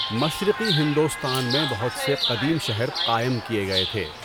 مشرقی ہندوستان میں بہت سے قدیم شہر قائم کئے گئے تھے۔